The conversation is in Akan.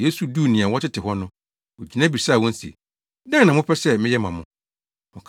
Yesu duu nea wɔtete hɔ no, ogyina bisaa wɔn se, “Dɛn na mopɛ sɛ meyɛ ma mo?”